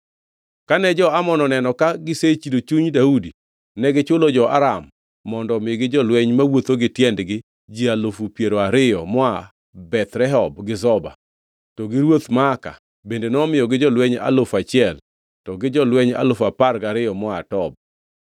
Kane jo-Amon oneno ka gisechido chuny Daudi, negichulo jo-Aram mondo omigi jolweny mawuotho gi tiendgi ji alufu piero ariyo moa Beth Rehob gi Zoba, to gi ruodh Maaka bende nomiyogi jolweny alufu achiel to gi jolweny alufu apar gariyo moa Tob.